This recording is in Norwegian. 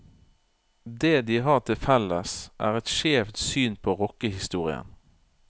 Det de har til felles, er et skjevt syn på rockehistorien.